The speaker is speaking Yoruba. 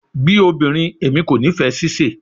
Bi obinrin, Emi ko nifẹ sise